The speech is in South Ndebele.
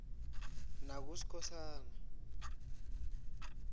nakuskhosana